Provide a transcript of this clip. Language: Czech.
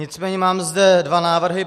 Nicméně mám zde dva návrhy.